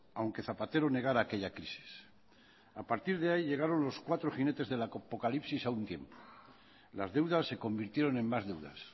aunque zapatero negara aquella crisis a partir de ahí llegaron los cuatro jinetes del apocalipsis a un tiempo las deudas se convirtieron en más deudas